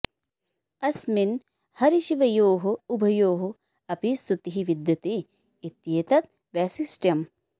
अस्मिन् हरिशिवयोः उभयोः अपि स्तुतिः विद्यते इत्येतत् वैशिष्ट्यम्